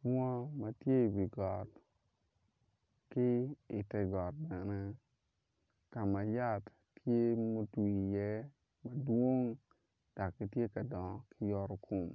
Bunga ma tye i wi got ki i tegot bene ka ma yat tye a otwi iye madwong dok gitye ka dongo ki yoto kom